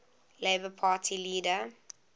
labour party leader